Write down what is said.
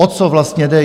O co vlastně jde?